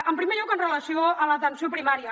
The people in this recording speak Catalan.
en primer lloc amb relació a l’atenció primària